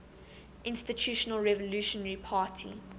institutional revolutionary party